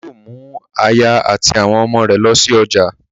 Ọlá yóò mú aya àti àwọn ọmọ rẹ̀ lọ sí ọjà